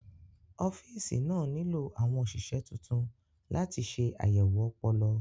Ọ́fíìsì náà nílò àwọn òṣìṣẹ́ tuntun láti ṣe àyẹ̀wò ọpọlọ.